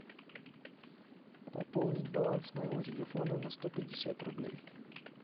пополнить баланс моего телефона на сто пятьдесят рублей